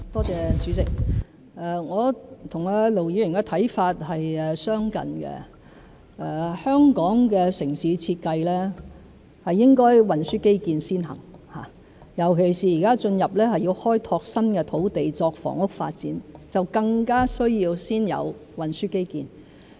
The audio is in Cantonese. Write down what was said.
主席，我和盧議員的看法相近，香港的城市設計應該是運輸基建先行，尤其現在要開拓新土地作房屋發展，就更加需要先有運輸基建。